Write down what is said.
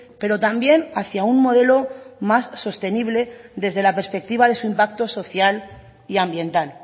pero también hacía un modelo más sostenible desde la perspectiva de su impacto social y ambiental